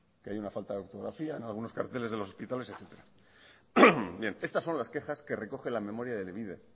que hay una falta de ortografía en algunos carteles de los hospitales etcétera bien estas son las quejas que recoge la memoria de elebide